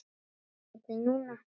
Þar til núna.